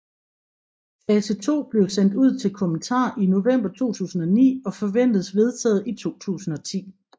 Fase 2 blev sendt ud til kommentar i november 2009 og forventes vedtaget i 2010